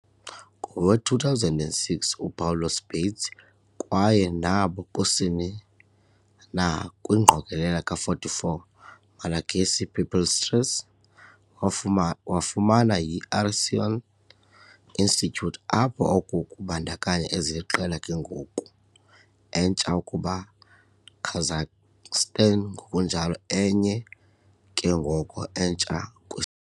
Ngowe-2006, Upawulos Bates kwaye nabo kusini na kwi ingqokelela ka-44 Malagasy "pipistrelles" wafuma wafumana yi - Harrison Institute, apho oku kubandakanya eziliqela ke ngoko entsha ukuba Kazakhstan, ngokunjalo enye ke ngoko entsha kwi.